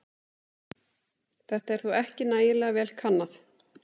Þetta er þó ekki nægilega vel kannað.